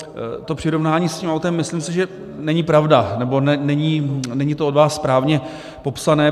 To přirovnání s tím autem, myslím si, že není pravda, nebo není to od vás správně popsáno.